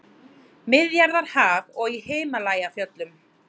Miðjarðarhaf og í Himalajafjöllum.